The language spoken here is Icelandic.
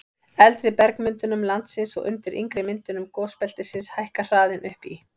eldri bergmyndunum landsins og undir yngri myndunum gosbeltisins hækkar hraðinn upp í